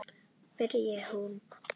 byrjaði hún.